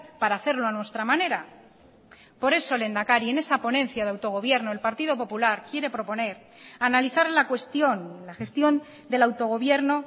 para hacerlo a nuestra manera por eso lehendakari en esa ponencia de autogobierno el partido popular quiere proponer analizar la cuestión la gestión del autogobierno